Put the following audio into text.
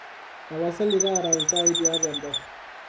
tapasali taara iltaai tiatu embafu